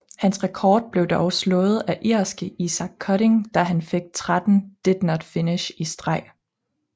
Hans rekord blev dog slået af irske Isacc Cutting da han fik 13 did not finish i streg